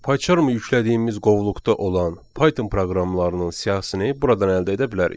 Paycharmı yüklədiyimiz qovluqda olan Python proqramlarının siyahısını buradan əldə edə bilərik.